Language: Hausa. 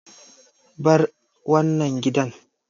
Bar wannan gidan!